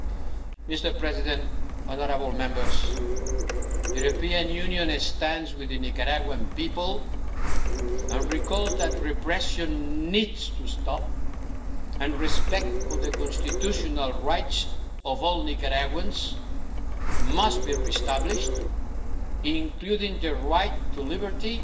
The European Union stands with the Nicaraguan people and recalls that repression needs to stop and respect for the constitutional rights of all Nicaraguans must be re-established, including the right to liberty